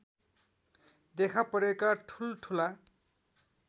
देखापरेका ठुलठुला